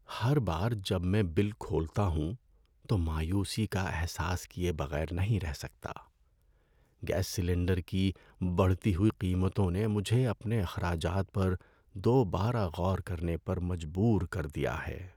‏ہر بار جب میں بل کھولتا ہوں، تو مایوسی کا احساس کیے بغیر نہیں رہ سکتا۔ گیس سلنڈر کی بڑھتی ہوئی قیمتوں نے مجھے اپنے اخراجات پر دوبارہ غور کرنے پر مجبور کر دیا ہے۔